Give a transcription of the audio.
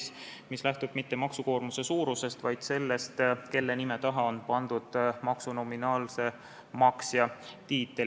See ei lähtu mitte maksukoormuse suurusest, vaid sellest, kelle nime taha on pandud maksu nominaalse maksja tiitel.